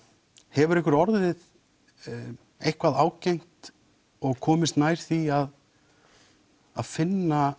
hefur einhverjum orðið eitthvað ágengt og komist nær því að að finna